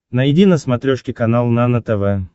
найди на смотрешке канал нано тв